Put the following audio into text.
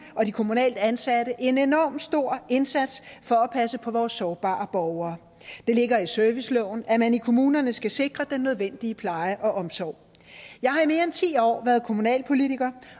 og de kommunalt ansatte en enorm stor indsats for at passe på vores sårbare borgere det ligger i serviceloven at man i kommunerne skal sikre den nødvendige pleje og omsorg jeg har i mere end ti år været kommunalpolitiker